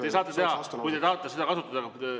Te saate teha, kui te tahate seda kasutada.